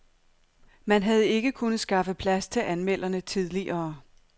Man havde ikke kunnet skaffe plads til anmelderne tidligere.